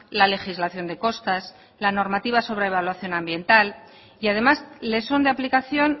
la legislación de costas la normativa sobre evaluación ambiental y además le son de aplicación